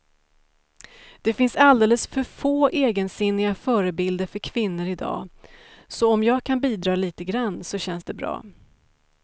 Det finns alldeles för få egensinniga förebilder för kvinnor i dag, så om jag kan bidra lite grann så känns det bra.